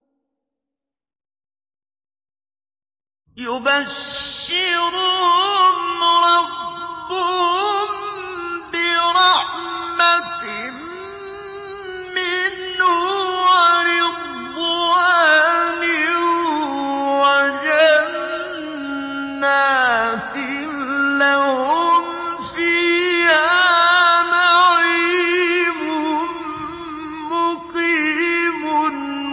يُبَشِّرُهُمْ رَبُّهُم بِرَحْمَةٍ مِّنْهُ وَرِضْوَانٍ وَجَنَّاتٍ لَّهُمْ فِيهَا نَعِيمٌ مُّقِيمٌ